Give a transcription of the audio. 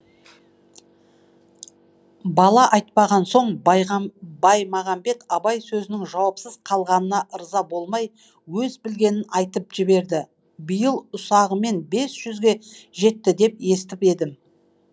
бала айтпаған соң баймағамбет абай сөзінің жауапсыз қалғанына ырза болмай өз білгенін айтып жіберді биыл ұсағымен бес жүзге жетті деп естіп едім